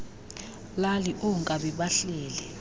lali oonkabi bahleli